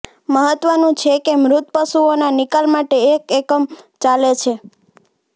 મહત્વનું છે કે મૃત પશુઓના નિકાલ માટે એક એકમ ચાલે છે